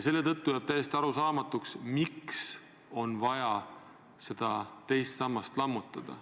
Seetõttu jääb täiesti arusaamatuks, miks on vaja teine sammas lammutada.